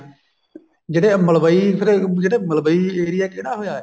ਜਿਹੜੇ ਮਲਵਈ ਅਹ ਜਿਹੜੇ ਮਲਵਈ area ਕਿਹੜਾ ਹੋਇਆ